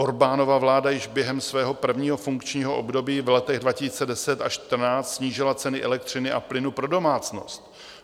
Orbánova vláda již během svého prvního funkčního období v letech 2010 až 2014 snížila ceny elektřiny a plynu pro domácnost.